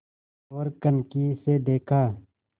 ओर कनखी से देखा